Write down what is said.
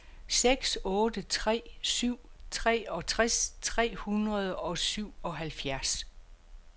seks otte tre syv treogtres tre hundrede og syvoghalvfjerds